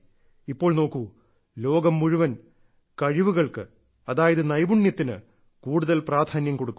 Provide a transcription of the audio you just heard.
ഇപ്പോൾ നോക്കൂ ലോകം മുഴുവൻ കഴിവുകൾക്ക് അതായത് നൈപുണ്യത്തിന് കൂടുതൽ പ്രാധാന്യം കൊടുക്കുന്നു